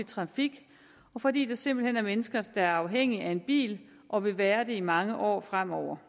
trafik og fordi der simpelt hen er mennesker der er afhængige af en bil og vil være det i mange år fremover